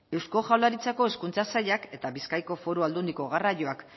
eusko jaurlaritzako hezkuntza sailak eta bizkaiko foru aldundiko garraioak